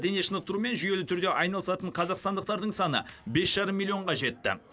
дене шынықтырумен жүйелі түрде айналысатын қазақстандықтардың саны миллионға жетті